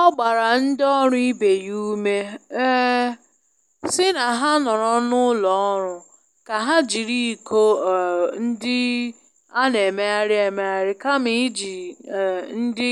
Ọ gbara ndị ọrụ ibe ya ume um si na ha noro n'ulo oru ka ha jiri iko um ndị a n'emegharị emegharị kama iji um ndị